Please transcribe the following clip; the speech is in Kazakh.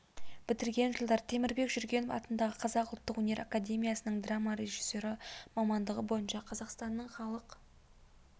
бітірген жылдары темірбек жүргенов атындағы қазақ ұлттық өнер академиясының драма режиссері мамандығы бойынша қазақстанның халық